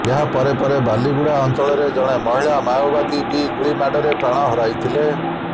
ଏହା ପରେ ପରେ ବାଲିଗୁଡ଼ା ଅଞ୍ଚଳରେ ଜଣେ ମହିଳା ମାଓବାଦୀ ବି ଗୁଳିମାଡ଼ରେ ପ୍ରାଣ ହରାଇଥିଲେ